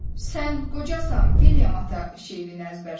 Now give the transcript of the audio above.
Sən qocasan, William ata şeirini əzbər söylə,